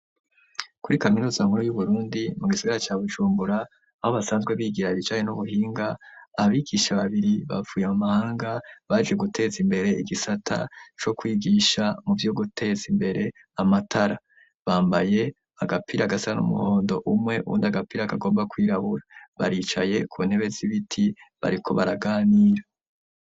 kuri kaminuza nkuru y'uburundi mu gisigara ca bujumbura aho basanzwe bigira ibijaye n'ubuhinga abigisha babiri bavuye mu mahanga baje guteza imbere igisata co kwigisha muvyo guteza imbere amatara, bambaye agapira gasa n'umuhondo umwe uwundi agapira kagomba kwirabura baricaye ku ntebe z'ibiti bariko baraganira.